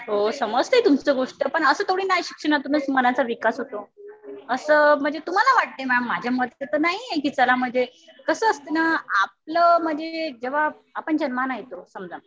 हो समजतेय तुमची गोष्ट पण असं थोडीना आहे कि शिक्षणातूनच मनाचा विकास होतो. असं म्हणजे तुम्हाला वाटतंय मॅम. माझ्या मते तर नाहीये कि चला म्हणजे, कसं असतंय ना आपलं म्हणजे जेव्हा आपण जन्माला येतो समजा